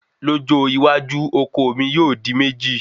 lójó iwájú oko mi yóò di méjì